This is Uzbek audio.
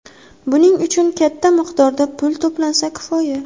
Buning uchun katta miqdorda pul to‘lansa, kifoya.